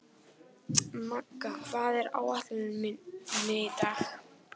Magga, hvað er á áætluninni minni í dag?